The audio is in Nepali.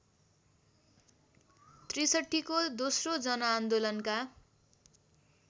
६३ को दोस्रो जनआन्दोलनका